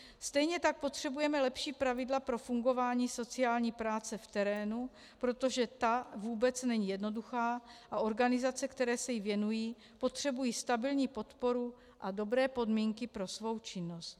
Stejně tak potřebujeme lepší pravidla pro fungování sociální práce v terénu, protože ta vůbec není jednoduchá a organizace, které se jí věnují, potřebují stabilní podporu a dobré podmínky pro svou činnost.